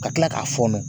Ka tila k'a fɔ nɔ